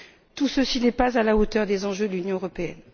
Tout ceci n'est pas à la hauteur des enjeux de l'Union européenne.